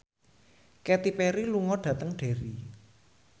Katy Perry lunga dhateng Derry